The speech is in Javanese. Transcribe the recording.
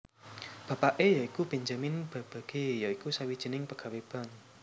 Bapake ya iku Benjamin Babbage ya iku sawijining pegawé bank